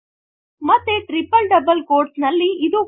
ಮತ್ತೆ triple double quotes ನಲ್ಲಿ